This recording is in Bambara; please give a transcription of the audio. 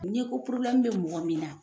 Ɲɛko porobilɛmu be mɔgɔ min na